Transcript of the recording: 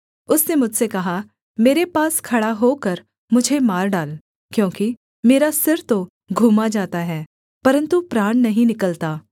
उसने मुझसे कहा मेरे पास खड़ा होकर मुझे मार डाल क्योंकि मेरा सिर तो घूमा जाता है परन्तु प्राण नहीं निकलता